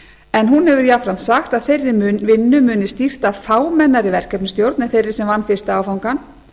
en hún hefur jafnframt sagt að þeirri vinnu muni stýrt af fámennari verkefnisstjórn en þeirri sem vann fyrsta áfangann